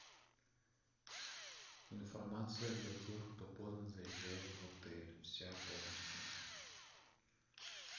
информация для тех кто поздно заезжает в отель вся полностью